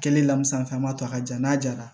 Kɛlen lamusa an b'a to a ka ja n'a jara